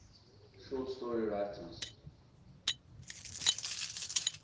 short story writers